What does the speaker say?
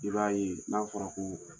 I b'a ye n'a fɔra ko